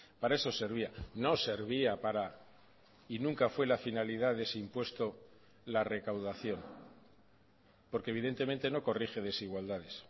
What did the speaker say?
para eso servía no servía para y nunca fue la finalidad de ese impuesto la recaudación porque evidentemente no corrige desigualdades